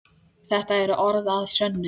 Þetta eru orð að sönnu.